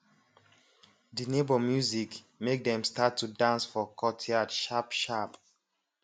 de neighbor music make dem start to dance for courtyard sharp sharp